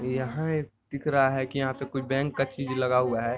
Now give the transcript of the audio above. यहाँ एक दिख रहा है कि यहाँ पे कुछ बैंक का चीज लगा हुआ है ।